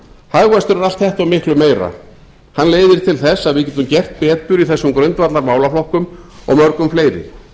hagvöxtur er allt þetta og miklu meira hann leiðir til þess að við getum gert betur í þessum grundvallarmálaflokkum og mörgum fleiri